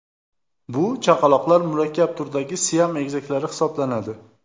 Bu chaqaloqlar murakkab turdagi siam egizaklari hisoblanadi.